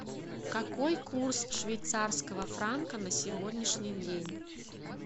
какой курс швейцарского франка на сегодняшний день